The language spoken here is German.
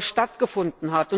stattgefunden hat.